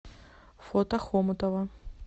фото хомутово